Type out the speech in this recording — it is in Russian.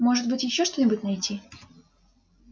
может быть ещё что-нибудь найти